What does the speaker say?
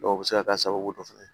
Dɔw bɛ se ka k'a sababu dɔ fana ye